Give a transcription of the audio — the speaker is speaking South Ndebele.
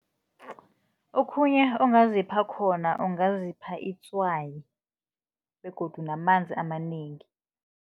Okhunye ongazipha khona, ungazipha itswayi begodu namanzi amanengi.